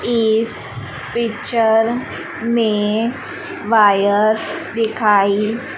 इस पिक्चर में वायर दिखाई--